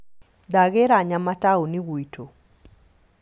Ndagĩra nyama taũni gwitũ